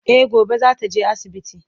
E gobe zata je asibiti